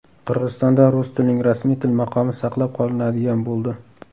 Qirg‘izistonda rus tilining rasmiy til maqomi saqlab qolinadigan bo‘ldi.